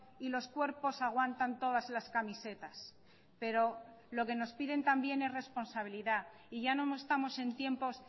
y los cuerpos aguantan todas las camisetas pero lo que nos piden también es responsabilidad y ya no estamos en tiempos